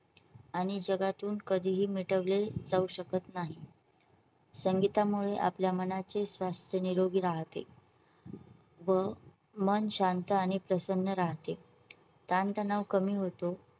आणि जगातून कधीही मिटवली जाऊ शकत नाही. संगीतामुळे आपल्या मनाचे स्वास्थ्य निरोगी राहते व मन शांत आणि प्रसन्न राहते. ताणतणाव कमी होतो.